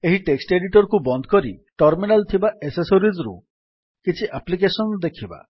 ଏହି text editor କୁ ବନ୍ଦ କରି ଟର୍ମିନାଲ୍ ଥିବା ଏସେସୋରିଜ୍ ରୁ କିଛି ଆପ୍ଲିକେଶନ୍ ଦେଖିବା